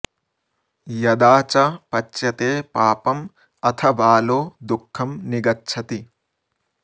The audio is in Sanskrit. यदा च पच्यते पापं अथ बालो दुःखं निगच्छति